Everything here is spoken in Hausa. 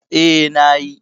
Eh, na yi